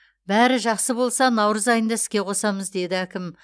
бәрі жақсы болса наурыз айында іске қосамыз деді әкім